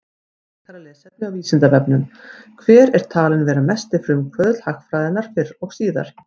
Frekara lesefni á Vísindavefnum: Hver er talinn vera mesti frumkvöðull hagfræðinnar fyrr og síðar?